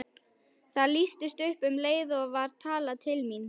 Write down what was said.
Það lýstist upp og um leið var talað til mín.